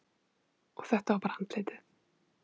Og þetta var bara andlitið.